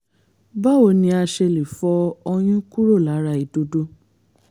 báwo ni a ṣe lè fọ ọyún kúrò lára ìdodo?